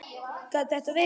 Gat þetta verið?